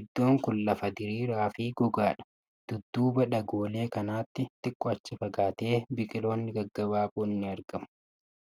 Iddoon kun lafa diriiraa fi gogaadha. Dudduuba dhagoolee kanaatti xiqqoo achi fagaatee biqiloonni gaggabaaboon ni argamu.